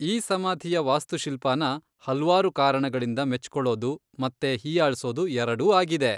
ಈ ಸಮಾಧಿಯ ವಾಸ್ತುಶಿಲ್ಪನ ಹಲ್ವಾರು ಕಾರಣಗಳಿಂದ ಮೆಚ್ಕೊಳೋದು ಮತ್ತೆ ಹೀಯಾಳ್ಸೋದು ಎರಡೂ ಆಗಿದೆ.